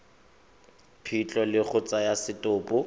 phitlho le go tsaya setopo